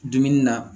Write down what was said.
Dumuni na